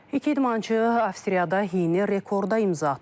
İki idmançı Avstriyada yeni rekorda imza atıb.